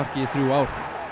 í þrjú ár